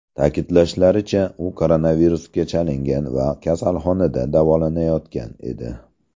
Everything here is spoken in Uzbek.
Ta’kidlashlaricha, u koronavirusga chalingan va kasalxonada davolanayotgan edi.